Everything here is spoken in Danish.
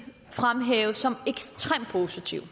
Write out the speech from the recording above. fremhæve som ekstremt positive